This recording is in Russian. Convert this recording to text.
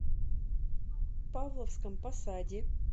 павловском посаде